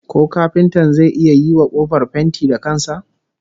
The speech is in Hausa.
Ko kafintan zai iya yiwa kofar fenti da kan sa?